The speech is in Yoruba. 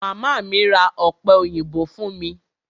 Màmá mi ra ọ̀pẹ òyìnbó fún mi.